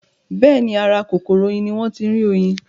Bẹ́ẹ̀ni, ara kòkòrò oyin ní wọ́n ń tí rí oyin